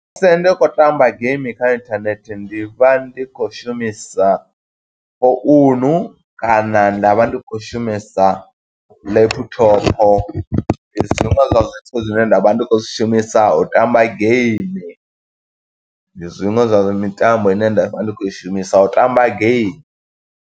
Musi ndi khou tamba game kha inthanethe, ndi vha ndi khou shumisa founu kana nda vha ndi khou shumisa laptop. Ndi zwiṅwe zwa zwithu zwine nda vha ndi khou zwi shumisa, u tamba game. Ndi zwiṅwe zwa zwa mitambo ine nda vha ndi khou i shumisa u tamba game.